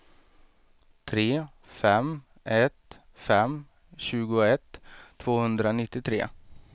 tre fem ett fem tjugoett tvåhundranittiotre